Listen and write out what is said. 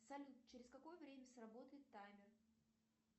салют через какое время сработает таймер